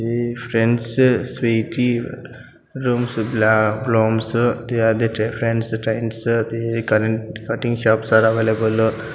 friends cutting shops are available --